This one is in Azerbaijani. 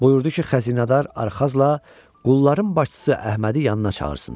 Buyurdu ki, xəzinədar Arxazla qulların başçısı Əhmədi yanına çağırsınlar.